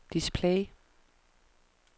display